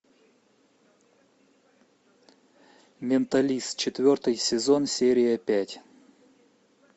менталист четвертый сезон серия пять